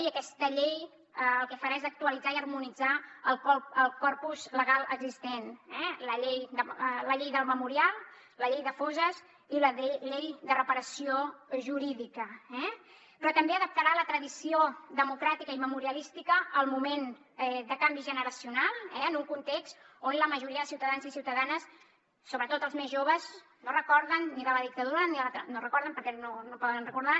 i aquesta llei el que farà és actualitzar i harmonitzar el corpus legal existent la llei del memorial la llei de fosses i la llei de reparació jurídica però també adaptarà la tradició democràtica i memorialística al moment de canvi generacional en un context on la majoria de ciutadans i ciutadanes sobretot els més joves no es recorden ni de la dictadura no ho recorden perquè no ho poden recordar